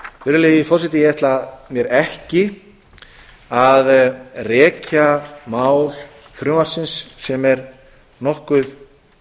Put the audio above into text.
virðulegi forseti ég ætla mér ekki að rekja mál frumvarpsins sem er nokkuð